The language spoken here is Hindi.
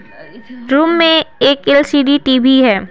रूम में एक एलसीडी टीवी है।